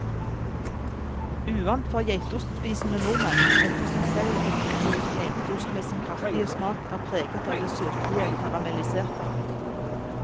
Uvant for geitostspisende nordmenn, ettersom selv ekte brun geitost med sin kraftige smak er preget av det søtlige karamelliserte.